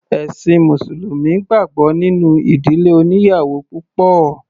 Ẹ̀ṣin mùsùlùmí gbàgbọ́ nínú ìdílé oníyàwò púpọ̀.